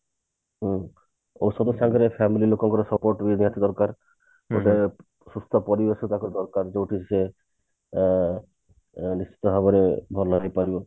ହୁଁ ଏଇସବୁ ତାଙ୍କର family ଲୋକଙ୍କର support ବି ନିହାତି ଦରକାର ଗୋଟେ ସୁସ୍ଥ ପରିବେଶ ତାକୁ ଦରକାର ଯୋଉଠି ସିଏ ଅ ନିଶ୍ଚିନ୍ତ ଭାବରେ ଭଲ ହେଇ ପାରିବ